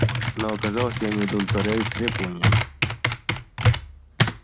но оказалось я не удовлетворяю их требованиям